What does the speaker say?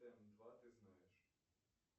м два ты знаешь